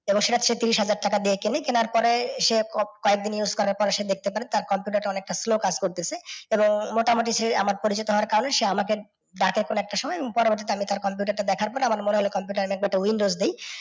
এবং সেটা তেত্তিরিশ হাজার টাকা দিয়ে কেনে। কেনার পরে সে continues use করার পর সে দেখতে পায় টার computer টা অনেকটা slow কাজ করতেছে এবং মোটামুটি সে আমার পরিচিত হওয়ার কারণে সে আমাকে দাকে এখন একটা সময় আমি পরবর্তী টার computer টা দেখার পরে আমার মনে হল computer এ আমি একবার windows দিই